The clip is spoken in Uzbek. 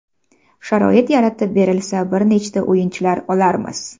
Sharoit yaratib berilsa bir nechta o‘yinchilar olarmiz.